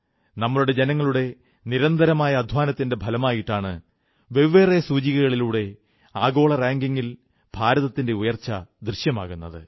നമ്മുടെ ജനങ്ങളുടെ നിരന്തരമായ അധ്വാനത്തിന്റെ ഫലമായിട്ടാണ് വെവ്വേറെ സൂചകങ്ങളിലൂടെ ആഗോള റാങ്കിംഗിൽ ഭാരതത്തിന്റെ ഉയർച്ച ദൃശ്യമാകുന്നത്